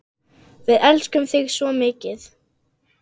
Við elskum þig svo mikið.